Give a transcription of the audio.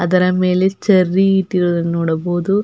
ಅದರ ಮೇಲೆ ಚೆರ್ರಿ ಇಟ್ಟಿರೊದು ನೋಡಬಹುದು.